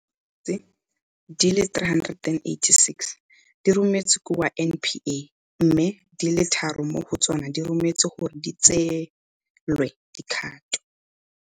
Dikgetse di le 386 di rometswe kwa NPA, mme di le tharo mo go tsona di rometswe gore di tseelwe dikgato.